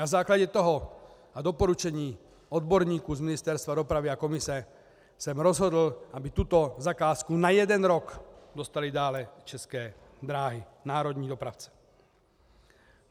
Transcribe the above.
Na základě toho a doporučení odborníků z Ministerstva dopravy a komise jsem rozhodl, aby tuto zakázku na jeden rok dostaly dále České dráhy, národní dopravce.